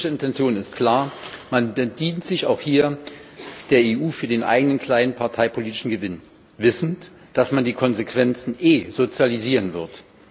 Die politische Intention ist klar Man bedient sich auch hier der EU für den eigenen kleinen parteipolitischen Gewinn, wissend, dass man die Konsequenzen eh sozialisieren wird.